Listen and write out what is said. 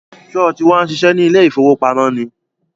Sọ ti wá ń ṣiṣẹ́ ní ilé ìfowópamọ́ ni?